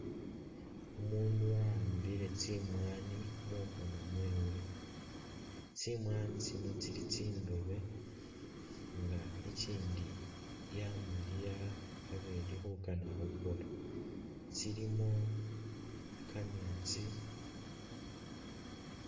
Umuundu wa'ambile tsimwaani mukhoono mwewe, tsimwaani tsino tsili tsindoobe nga ikindi yamaliya abe ili khukaana khuboola, ilimo kameetsi.